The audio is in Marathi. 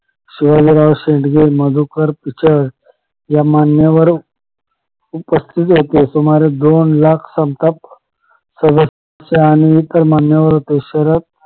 शिवाजी राव शेडगे मधुकर पिचल या मान्यवरांनी उपस्थित होते सुमारे दोन लाख संताप आणि मान्यवर उपस्थित होते